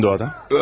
Kimdir o adam?